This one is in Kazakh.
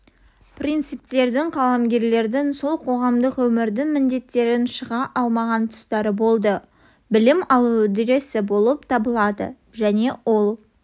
принциптерін қаламгерлердің сол қоғамдық өмірдің міндеттерінен шыға алмаған тұстары болды білім алу үдерісі болып табылады және ол